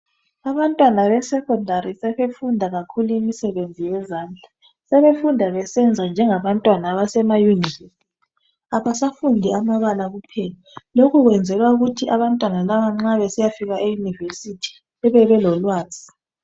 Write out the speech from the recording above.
Abantwana besecondary sebefunda kakhulu imisebenzi yezandla sebefunda besenza njengabantwana basema university abasafundi amabala kuphela lokhu kwenzelwa ukuthi abantwana laba nxa besiyafika e University bebe belolwazi